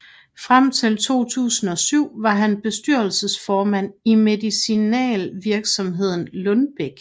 Frem til 2007 var han bestyrelsesformand i medicinalvirksomheden Lundbeck